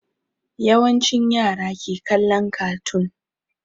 Yawancin yara ke kallon kartoon